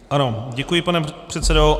Ano, děkuji, pane předsedo.